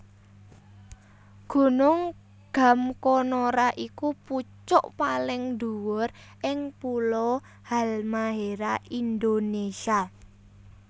Gunung Gamkonora iku pucuk paling dhuwur ing pulo Halmahera Indonésia